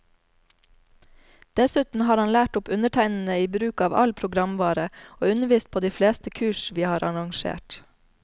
Dessuten har han lært opp undertegnede i bruk av all programvare, og undervist på de fleste kurs vi har arrangert.